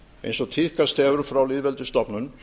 eins og tíðkast hefur frá lýðveldisstofnun